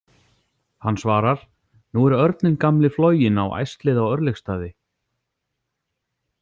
Hann svarar: Nú er örninn gamli floginn á æslið á Örlygsstaði.